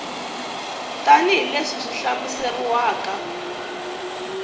tanihi leswi swi hlamuseriwaka eka